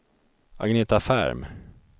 Agneta Ferm